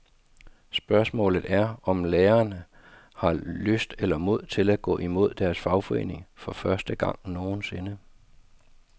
Spørgsmålet er, om lærerne har lyst eller mod til at gå imod deres fagforening for første gang nogensinde.